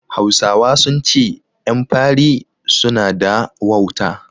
Hausawa sun ce ƴan fari su na da wauta